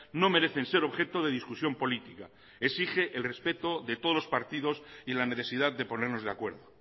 no merecen ser objeto de discusión política exige el respeto de todos los partidos y la necesidad de ponernos de acuerdo